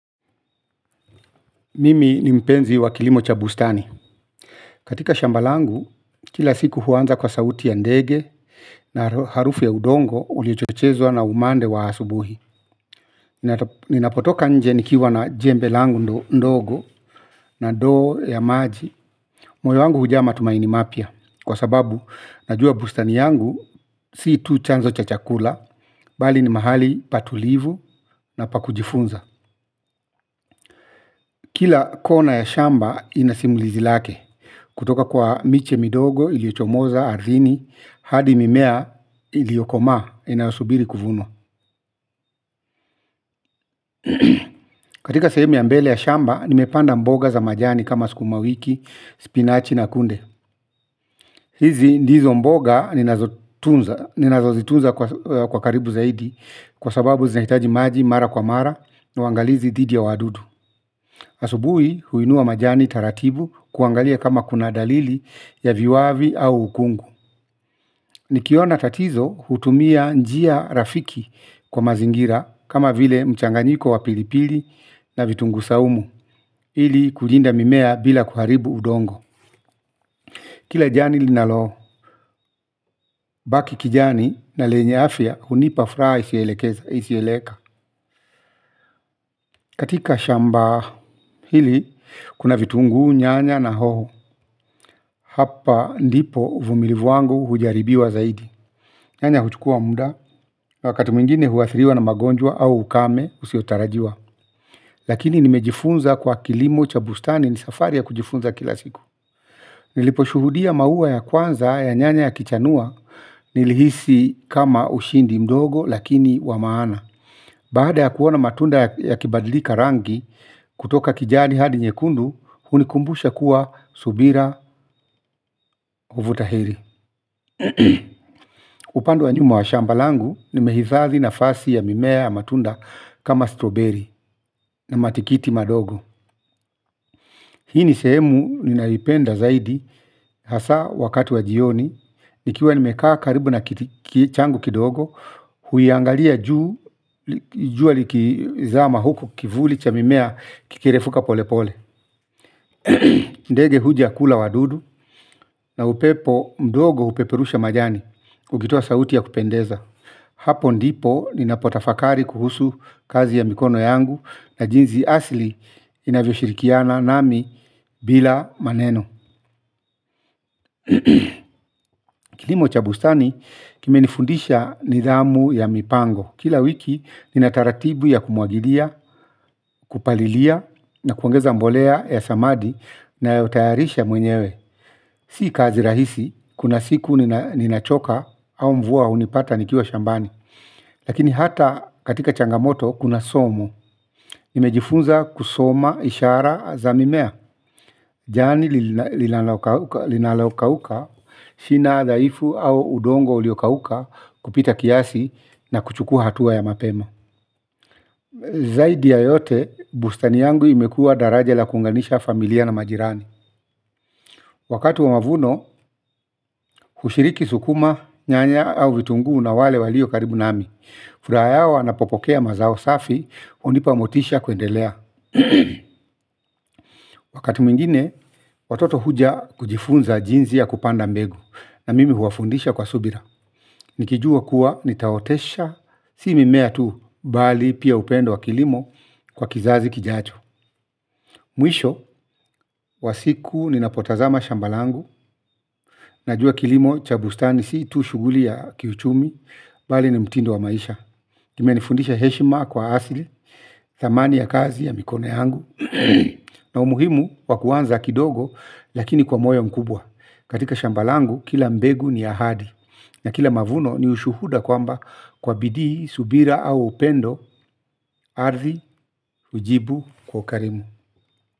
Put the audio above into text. Mimi ni mpenzi wa kilimo cha bustani. Katika shamba langu, kila siku huanza kwa sauti ya ndege na harufu ya udongo uliochochezwa na umande wa asubuhi. Ninapotoka nje nikiwa na jembe langu ndogo na ndoo ya maji. Moyo wangu hujaa matumaini mapya kwa sababu najua bustani yangu si tu chanzo cha chakula, bali ni mahali patulivu na pakujifunza. Kila kona ya shamba, inasimulizi lake. Kutoka kwa miche midogo, iliyochomoza, ardhini, hadi mimea, iliyokoma, inasubiri kuvunwa. Katika sehemu ya mbele ya shamba, nimepanda mboga za majani kama sikuma wiki, spinachi na kunde. Hizi ndizo mboga, ninazotunza, ninazozitunza kwa karibu zaidi, kwa sababu zinahitaji maji, mara kwa mara, na uangalizi didhi ya wadudu. Asubui huinua majani taratibu kuangalia kama kuna dalili ya viwavi au ukungu. Nikiona tatizo hutumia njia rafiki kwa mazingira kama vile mchanganyiko wa pilipili na vitungu saumu. Hili kulinda mimea bila kuharibu udongo. Kila jani linalo baki kijani na lenye afya hunipa furaha isiyo elekeza isiyoeleweka. Katika shamba pili, kuna vitunguu, nyanya na hoho. Hapa ndipo uvumilivu wangu hujaribiwa zaidi. Nyanya huchukua muda na wakati mwingine huwa athiriwa na magonjwa au ukame usiyotarajiwa. Lakini nimejifunza kwa kilimo chabustani ni safari ya kujifunza kila siku niliposhuhudia maua ya kwanza ya nyanya yakichanua. Nilihisi kama ushindi mdogo lakini wamaana. Baada ya kuona matunda ya kibadlika rangi. Kutoka kijani hadi nyekundu hunikumbusha kuwa subira huvuta heri. Upande wa nyuma wa shamba langu. Nimehifadhi nafasi ya mimea ya matunda. Kama stroberi na matikiti madogo. Hii ni sehemu ninayoipenda zaidi hasa wakati wa jioni. Nikiwa nimekaa karibu na kichangu kidogo huyangalia juu. Jua likizama huku kivuli cha mimea kikirefuka pole pole ndege huja kula wadudu. Na upepo mdogo hupeperusha majani. Ukitoa sauti ya kupendeza. Hapo ndipo ninapo tafakari kuhusu kazi ya mikono yangu na jinzi asili inavyo shirikiana nami bila maneno. Kilimo chabustani kimenifundisha nidhamu ya mipango. Kila wiki nina taratibu ya kumwagilia, kupalilia na kuongeza mbolea ya samadi nayotayarisha mwenyewe. Si kazi rahisi, kuna siku nina choka au mvua hunipata nikiwa shambani. Lakini hata katika changamoto kuna somo nimejifunza kusoma hishara za mimea. Jani linalokauka shina dhaifu au udongo uliokauka kupita kiasi na kuchuku hatua ya mapema. Zaidi ya yote bustani yangu imekua daraja la kunganisha familia na majirani. Wakati wa mavuno hushiriki sukuma nyanya au vitungu na wale walio karibu nami. Furaha yao wana popokea mazao safi, hunipa motisha kuendelea. Wakati mwingine, watoto huja kujifunza jinzi ya kupanda mbegu. Na mimi huwafundisha kwa subira. Nikijua kuwa, nitaotesha, si mimea tu, bali pia upendo wa kilimo kwa kizazi kijacho. Mwisho, wasiku, ninapotazama shamba langu. Najua kilimo, cha bustani, si tu shuguli ya kiuchumi, bali ni mtindo wa maisha kimenifundisha heshima kwa ardi, thamani ya kazi ya mikono yangu. Na umuhimu wakuanza kidogo lakini kwa moyo mkubwa. Katika shamba langu kila mbegu ni ahadi. Na kila mavuno ni ushuhuda kwamba kwa bidii, subira au upendo aridhi, hujibu, kwa karimu.